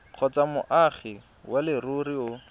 kgotsa moagi wa leruri o